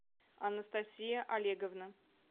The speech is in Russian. анастасия олеговна